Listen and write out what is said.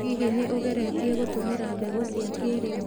Hihi, nĩ ũgeretie gũtũmĩra mbegũ cia kĩrĩu?